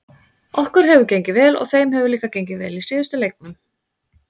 Okkur hefur gengið vel og þeim hefur líka gengið vel í síðustu leiknum.